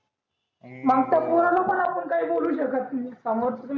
मग त्या पोराला पण आपण काही बोलू शकत नि